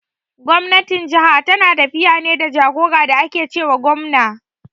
Gwamnatin jaha tana tafiya ne da jagora da ake ce wa gwamna.